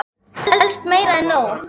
Helst meira en nóg.